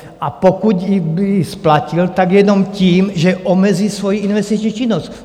A pokud by ji splatil, tak jenom tím, že omezí svoji investiční činnost.